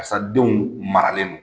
Karisa denw maralen don.